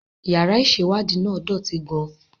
Yàrá ìṣèwádìí náà dọ̀tí gan-an